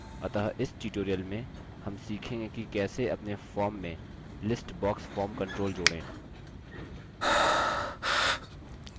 अतः इस tutorial में हम सीखेंगे कि कैसे अपने form में list box form control जोड़ें